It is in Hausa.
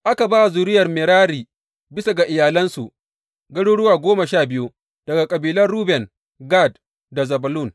Aka ba wa zuriyar Merari bisa ga iyalansu, garuruwa goma sha biyu daga kabilan Ruben, Gad da Zebulun.